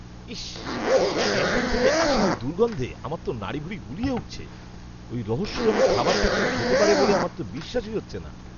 ইস্! Canteen থেকে আসা ওই দুর্গন্ধে আমার তো নাড়িভুড়ি গুলিয়ে উঠছে! ওই রহস্যজনক খাবারটা কেউ খেতে পারে বলে আমার তো বিশ্বাসই হচ্ছে না।